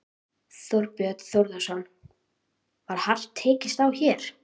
Þorbjörn Þórðarson: Var hart tekist á hér?